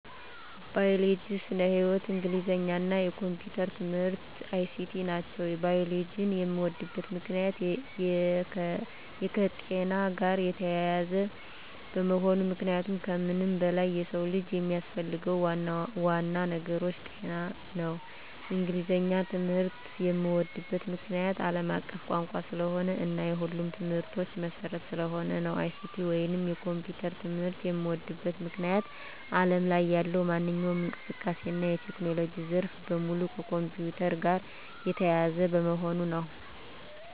ባዮሎጂ (ስነ-ህይዎት)፣ እንግሊዘኛ እና የኮምፒዩተር ትምህርት(ICT) ናቸው። ባዮሎጂን የምወድበት ምክንያት - የከጤና ጋር የተያያዘ በመሆኑ ምክንያቱም ከምንም በላይ የሰው ልጅ የሚያስፈልገው ዋናው ነገር ጤና ነው። እንግሊዘኛን ትምህርት የምዎድበት ምክንያት - አለም አቀፍ ቋንቋ ስለሆነ እና የሁሉም ትምህርቶች መሰረት ስለሆነ ነው። ICT ወይንም የኮምፒውተር ትምህርት የምዎድበት ምክንያት አለም ላይ ያለው ማንኛውም እንቅስቃሴ እና የቴክኖሎጂ ዘርፍ በሙሉ ከኮምፒውተር ጋር የተያያዘ በመሆኑ ነው።